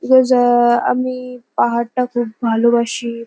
রেজাআআআআ আমিইইইইই পাহাড়টা খুব ভালোবাসি।